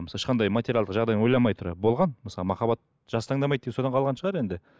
ешқандай материалдық жағдайын ойламай тұра болған мысалы махаббат жас таңдамайды деген содан қалған шығар енді